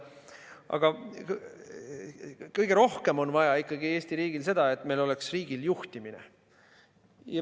Aga kõige rohkem on Eesti riigil ikkagi vaja seda, et meie riigil oleks juhtimine.